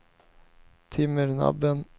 Timmernabben